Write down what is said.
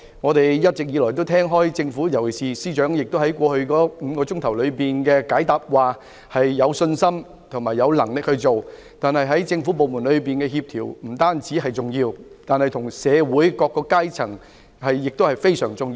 我們一直以來聽到政府，尤其是司長在過去5小時回答質詢時表示有信心和有能力止暴制亂，不但政府部門之間的協調重要，與社會各階層的合作亦非常重要。